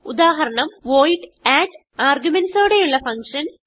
ഉദാഹരണം void add arguments ഓടെയുള്ള function